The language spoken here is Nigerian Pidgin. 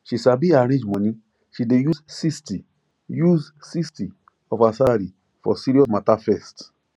she sabi arrange money she dey use 60 use 60 of her salary for serious matter first